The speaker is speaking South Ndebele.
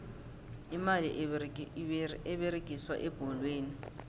imali eberegiswa ebholweni